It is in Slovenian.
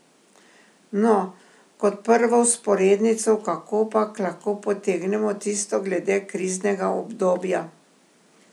No, kot prvo vzporednico kakopak lahko potegnemo tisto glede kriznega obdobja.